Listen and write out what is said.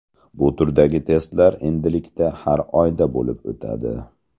Bu turdagi testlar endilikda har oyda bo‘lib o‘tadi.